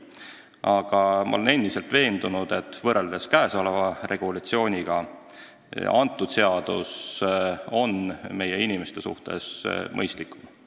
Aga ma olen endiselt veendunud, et võrreldes praeguse regulatsiooniga on uus seadus meie inimeste suhtes mõistlikum.